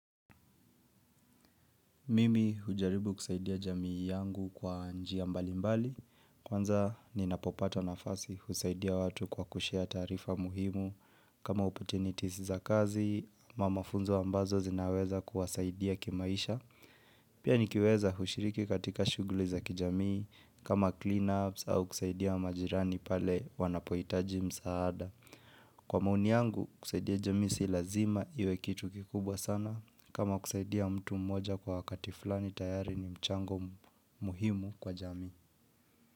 Mimi hujaribu kusaidia jamii yangu kwa njia mbali mbali, kwanza ninapopata nafasi husaidia watu kwa kushare taarifa muhimu kama opportunities za kazi ama mafunzo ambazo zinaweza kuwasaidia kimaisha, pia nikiweza hushiriki katika shuguli za kijamii kama cleanups au kusaidia majirani pale wanapohitaji msaada. Kwa maoni yangu kusaidia jamii si lazima iwe kitu kikubwa sana kama kusaidia mtu mmoja kwa wakati fulani tayari ni mchango muhimu kwa jamii.